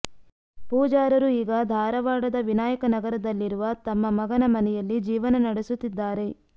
ಪೂಜಾರರು ಈಗ ಧಾರವಾಡದ ವಿನಾಯಕನಗರದಲ್ಲಿರುವ ತಮ್ಮ ಮಗನ ಮನೆಯಲ್ಲಿ ಜೀವನ ನಡೆಸುತ್ತಿದ್ದಾರೆ